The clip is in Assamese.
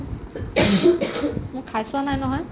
মই খাইছোৱা নাই নহয়